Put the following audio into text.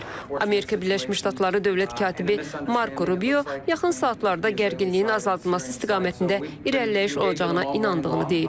Amerika Birləşmiş Ştatları Dövlət katibi Marko Rubio yaxın saatlarda gərginliyin azaldılması istiqamətində irəliləyiş olacağına inandığını deyib.